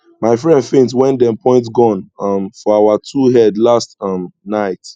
my friend faint wen dem point gun um for our two head last um night